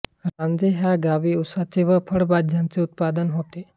रांझे ह्या गावी उसाचे व फळ भाज्यांचे उत्पादन होते